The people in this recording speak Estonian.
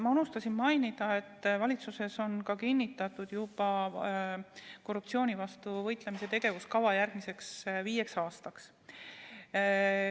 Ma unustasin mainida, et valitsuses on juba kinnitatud korruptsiooni vastu võitlemise tegevuskava järgmiseks viieks aastaks.